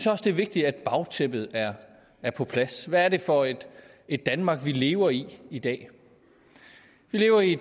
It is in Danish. også det er vigtigt at bagtæppet er er på plads hvad er det for et danmark vi lever i i dag vi lever i